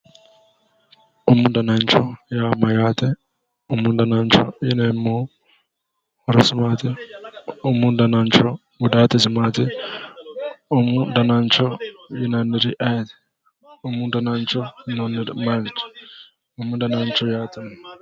Umu danancho yaa mayyaate? umu danancho yineemmohu horosi maatiro, umu danancho gudaatisi maatiro umu danancho yinanniri ayeeti? umu danancho yinanniri maati. umu danancho yaate.